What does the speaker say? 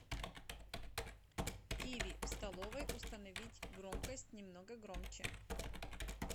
тиви в столовой установить громкость немного громче